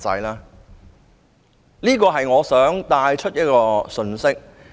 這是我想帶出的信息。